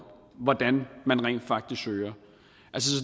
hvordan man rent faktisk søger